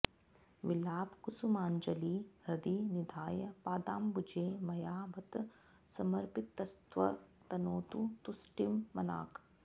विलापकुसुमाञ्जलिर्हृदि निधाय पादाम्बुजे मया बत समर्पितस्तव तनोतु तुष्टिं मनाक्